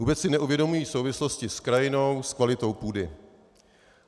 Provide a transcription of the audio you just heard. Vůbec si neuvědomují souvislosti s krajinou, s kvalitou půdy.